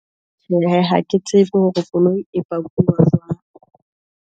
Tjhehe ha ke tsebe hore koloi e pakuwa jwang.